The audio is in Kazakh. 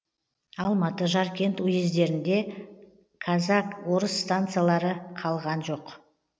алматы жаркент уездерінде казак орыс станицалары қалған жоқ